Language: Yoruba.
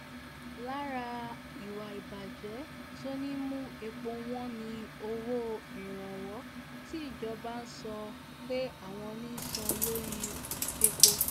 lára ìwà ìbàjẹ́ tó ń mú epo wọn ni owó ìrànwọ́ tí ìjọba sọ pé àwọn ń san lórí epo